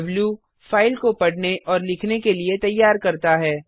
द्व -फाइल को पढ़ने और लिखने के लिए तैयार करता है